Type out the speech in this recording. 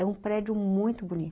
É um prédio muito bonito.